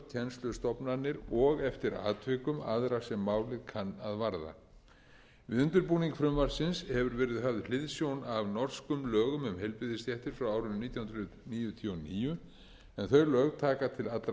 kennslustofnanir og eftir atvikum aðra sem málið kann að varða við undirbúning frumvarpsins hefur verið höfð hliðsjón af norskum lögum um heilbrigðisstéttir frá árinu nítján hundruð níutíu og níu en þau lög taka til allra heilbrigðisstétta má lækna og hjúkrunarfræðinga